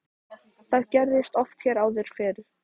Það gerðist oft hér áður fyrr.